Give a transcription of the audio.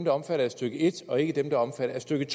er omfattet af stykke en og ikke dem der er omfattet af stykke